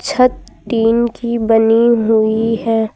छत टीन की बनी हुई है।